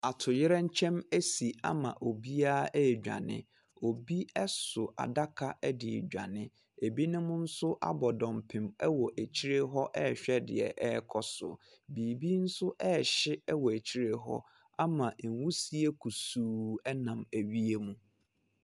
Atoyerɛnkyɛm asi ama obiara redwane. Obi so adaka de redwane, ebinom nso abɔ dɔmpem wɔ akyire hɔ rehwɛ deɛ ɛrekɔ so. Biribi nso rehye wɔ akyire hɔ ama nwusie kusii nam wiem.